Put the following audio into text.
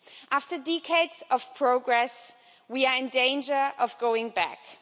After decades of progress, we are in danger of going backwards.